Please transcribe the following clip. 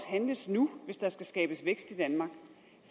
handles nu hvis der skal skabes vækst i danmark